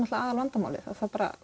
aðal vandamálið að